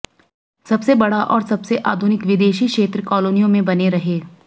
सबसे बड़ा और सबसे आधुनिक विदेशी क्षेत्र कालोनियों में बने रहे